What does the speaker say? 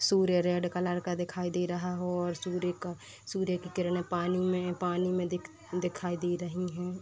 सूर्य red colour का दिखाई दे रहा हो और सूर्य का सूर्य की किरणें पानी में पानी में दिख दिखाई दे रही हैं।